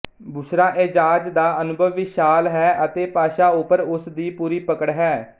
ਬੁਸ਼ਰਾ ਏਜ਼ਾਜ ਦਾ ਅਨੁਭਵ ਵਿਸ਼ਾਲ ਹੈ ਅਤੇ ਭਾਸ਼ਾ ਉੱਪਰ ਉਸ ਦੀ ਪੂਰੀ ਪਕੜ ਹੈ